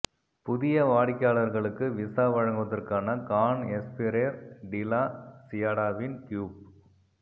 புதிய வாடிக்கையாளர்களுக்கு விசா வழங்குவதற்கான கான் எஸ்பிரேர் டி லா சியாடாவின் கியூப்